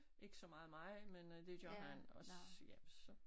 Ikke så meget mig men øh det gør han og så ja så